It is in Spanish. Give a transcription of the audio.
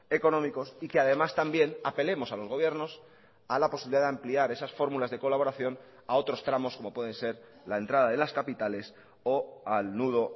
económicos y que además también apelemos a los gobiernos a la posibilidad de ampliar esas fórmulas de colaboración a otros tramos como pueden ser la entrada de las capitales o al nudo